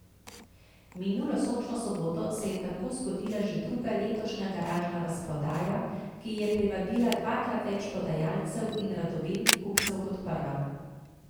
Minulo sončno soboto se je tako zgodila že druga letošnja garažna razprodaja, ki je privabila dvakrat več prodajalcev in radovednih kupcev kot prva.